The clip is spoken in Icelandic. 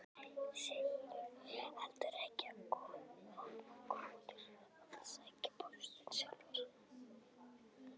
Sigurður heldur ekki of góður að sækja póstinn sjálfur.